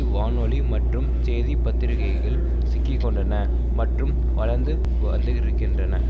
வானொலி மற்றும் செய்தி பத்திரிகைகள் சிக்கிக்கொண்டன மற்றும் வளர்ந்து வந்துகிருக்கின்றன